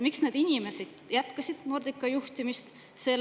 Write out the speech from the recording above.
Miks need inimesed jätkasid Nordica juhtimist?